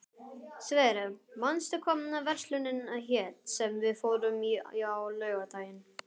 Sverre, manstu hvað verslunin hét sem við fórum í á laugardaginn?